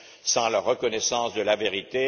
sans la reconnaissance de la vérité?